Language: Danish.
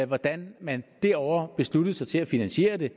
hvordan man derovre besluttede sig til at finansiere det